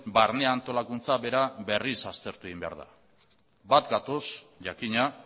barne antolakuntza bera berriz aztertu egin behar da bat gatoz jakina